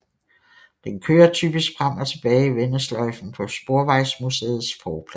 Den kører typisk frem og tilbage i vendesløjfen på Sporvejsmuseets forplads